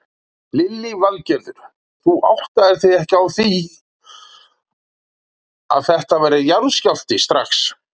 Lillý Valgerður: Þú áttaðir þig ekki á því að þetta væri jarðskjálfti strax?